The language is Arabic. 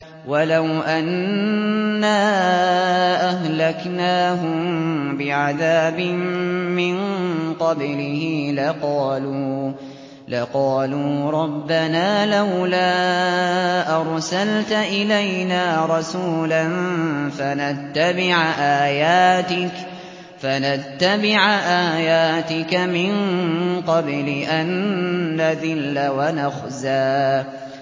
وَلَوْ أَنَّا أَهْلَكْنَاهُم بِعَذَابٍ مِّن قَبْلِهِ لَقَالُوا رَبَّنَا لَوْلَا أَرْسَلْتَ إِلَيْنَا رَسُولًا فَنَتَّبِعَ آيَاتِكَ مِن قَبْلِ أَن نَّذِلَّ وَنَخْزَىٰ